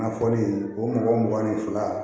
Na fɔli o mɔgɔ mugan ni fila